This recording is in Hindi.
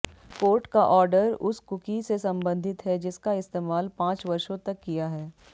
कोर्ट का ऑर्डर उस कुकी से संबंधित है जिसका इस्तेमाल पांच वर्षों तक किया है